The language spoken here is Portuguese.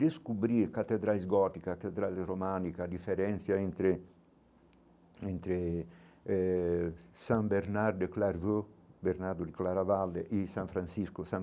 Descobrir a Catedrais gótica, a Catedral românica, a diferença entre entre eh San Bernard de Clairvaux, Bernardo de Clairavaldes e São Francisco de Assis.